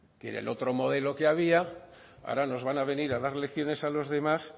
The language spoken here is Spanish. que era el otro modelo que había ahora nos van a venir a dar lecciones a los demás